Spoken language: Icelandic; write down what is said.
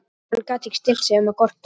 En hann gat ekki stillt sig um að gorta.